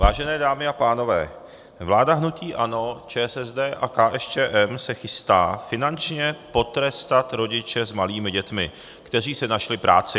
Vážené dámy a pánové, vláda hnutí ANO, ČSSD a KSČM se chystá finančně potrestat rodiče s malými dětmi, kteří si našli práci.